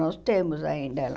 Nós temos ainda ela.